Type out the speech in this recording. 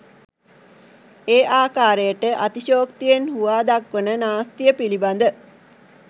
ඒ අකාරයට අතිශයොක්තියෙන් හුවා දක්වන නාස්තිය පිළිබඳ